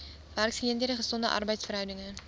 werksgeleenthede gesonde arbeidsverhoudinge